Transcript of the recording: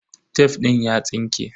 Tef din ya tsinke.